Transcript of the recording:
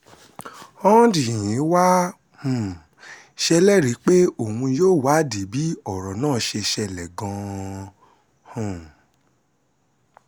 hondnyin wàá um ṣèlérí pé òun yóò wádìí bí ọ̀rọ̀ náà ṣe ṣẹlẹ̀ gan-an um